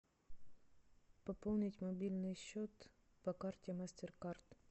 пополнить мобильный счет по карте мастеркард